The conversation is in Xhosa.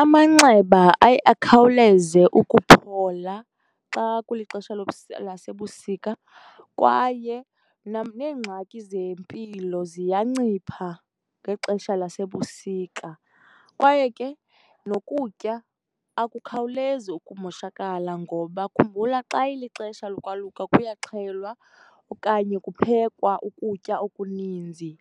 Amanxeba aye akhawuleze ukuphola xa kulixesha lasebusika kwaye neengxaki zempilo ziyancipha ngexesha lasebusika. Kwaye ke nokutya akukhawulezi ukumoshakala ngoba khumbula xa ilixesha lokwaluka kuyaxhelwa okanye kuphekwa ukutya okuninzi,